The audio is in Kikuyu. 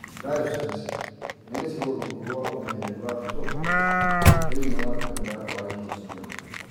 Dayocese nĩ gĩcigo rungu rwa ũmenyereri wa bishofu thĩini wa kanitha wa gĩkristiano